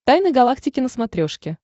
тайны галактики на смотрешке